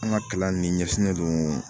An ka kalan nin ɲɛsinnen don